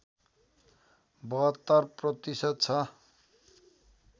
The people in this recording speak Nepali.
७२ प्रतिशत छ